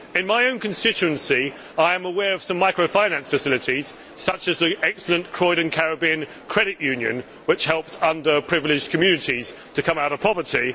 In my own constituency, I am aware of some microfinance facilities, such as the excellent Croydon Caribbean Credit Union, which helps underprivileged communities come out of poverty.